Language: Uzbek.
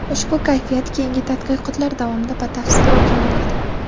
Ushbu kashfiyot keyingi tadqiqotlar davomida batafsil o‘rganiladi.